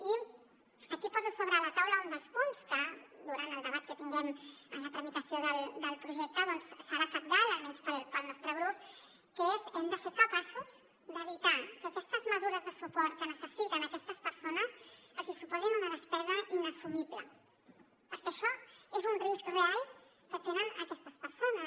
i aquí poso sobre la taula un dels punts que durant el debat que tinguem en la tramitació del projecte doncs serà cabdal almenys pel nostre grup que és hem de ser capaços d’evitar que aquestes mesures de suport que necessiten aquestes persones els hi suposin una despesa inassumible perquè això és un risc real que tenen aquestes persones